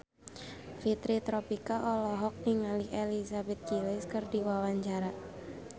Fitri Tropika olohok ningali Elizabeth Gillies keur diwawancara